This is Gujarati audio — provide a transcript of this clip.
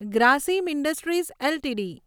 Grasim industries LTD